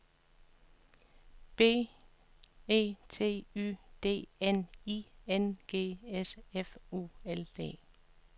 B E T Y D N I N G S F U L D